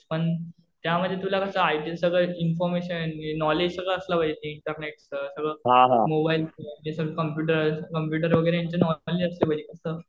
पण त्यामध्ये तुला कसं आयटी सगळं इन्फॉर्मेशन, नॉलेज सगळं असलं पाहिजे इंटरनेटच सगळं मोबाईलचं. हे सगळं कम्प्युटर वगैरे यांचं नॉलेज असलं पाहिजे. कसं